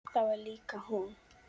Það var líka hún.